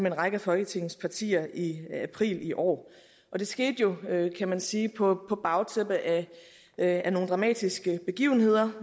en række af folketingets partier i april i år det skete jo kan man sige på bagtæppet af af nogle dramatiske begivenheder